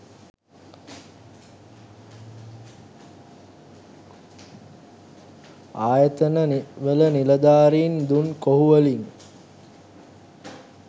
ආයතන වල නිළධාරින් දුන් කොහු වලින්